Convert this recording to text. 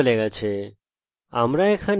আমরা লিঙ্গও লিখতে পারি